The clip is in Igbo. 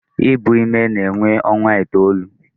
Ibu ime na-ewe ọnwa itoolu.